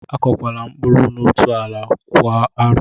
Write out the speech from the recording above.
Akọkwala mkpụrụ n'otú ala kwa arọ!